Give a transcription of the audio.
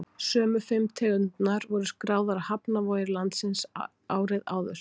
sömu fimm tegundirnar voru skráðar á hafnarvogir landsins árið áður